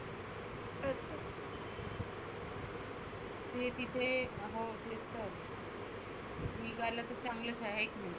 तुही तिथे निघालं तर चांगलंच आहे.